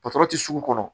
Patɔrɔn tɛ sugu kɔnɔ